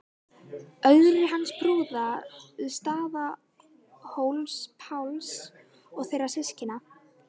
Ögri hins prúða, Staðarhóls-Páls og þeirra systkina.